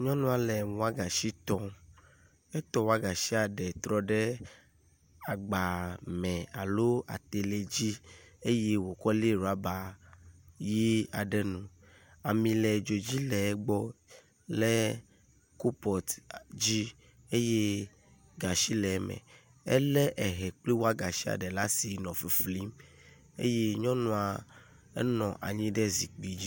Nyɔnua le wɔgasi tɔm. Etɔ wɔgashia eɖe trɔ ɖe agba me alo atelɛ dzi eye wokɔ le ɖɔba ʋi aɖe nu. Ami le dzo dzi le egbɔ le kopɔt dzi eye gashi le eme. Ele ehɛ kple wagashi ɖe asi nɔ fiflim eye nyɔnua nɔ anyi ɖe ehɛ dzi.